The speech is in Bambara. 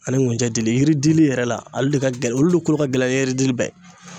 Ani ŋunɛ dili yiri dili yɛrɛ la ale de ka gɛlɛn olu le kolo ka gɛlɛn ni yiri dili bɛɛ ye